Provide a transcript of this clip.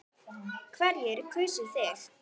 Hverjir kusu þig?